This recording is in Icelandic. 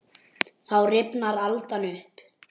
Þá rifnar aldan upp.